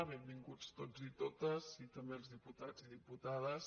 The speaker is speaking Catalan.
benvinguts tots i totes i també els diputats i diputades